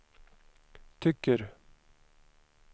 tycker